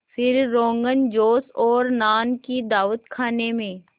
फिर रोग़नजोश और नान की दावत खाने में